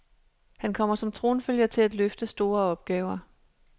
Han kommer som tronfølger til at løfte store opgaver.